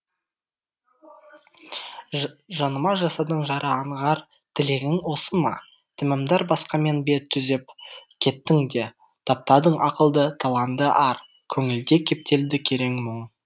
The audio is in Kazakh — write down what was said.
жаныма жасадың жара аңғар тілегің осы ма тәмәмдар басқамен бет түзеп кеттің де таптадың ақылды таланды ар көңілде кептелді керең мұң